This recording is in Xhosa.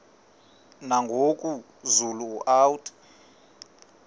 nangoku zulu uauthi